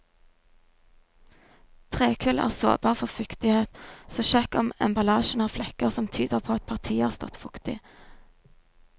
Trekull er sårbar for fuktighet, så sjekk om emballasjen har flekker som tyder på at partiet har stått fuktig.